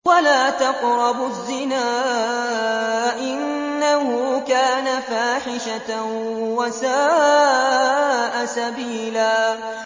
وَلَا تَقْرَبُوا الزِّنَا ۖ إِنَّهُ كَانَ فَاحِشَةً وَسَاءَ سَبِيلًا